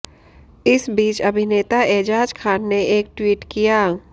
इस बीच अभिनेता एजाज खान ने एक ट्वीट किया